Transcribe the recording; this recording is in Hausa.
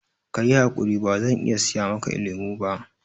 Ka yi haƙuri, bazan iya siya maka lemo ba